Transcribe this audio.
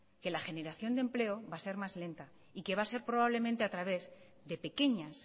que la generación de empleo va a ser más lenta y que va a ser probablemente a través de pequeñas